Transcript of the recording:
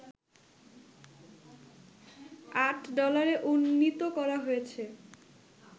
৮ ডলারে উন্নীত করা হয়েছে